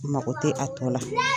Mako te a tɔ la